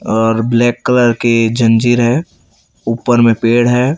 और black colour के जंजीर है ऊपर में पेड़ है।